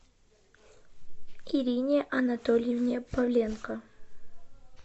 ирине анатольевне павленко